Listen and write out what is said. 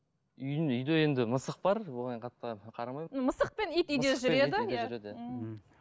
үйімде үйде енді мысық бар оған қатты қарамаймын мысық пен ит үйде жүреді иә мхм